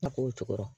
A k'o cogorɔ